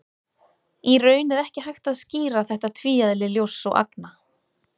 Í raun er ekki hægt að skýra þetta tvíeðli ljóss og agna.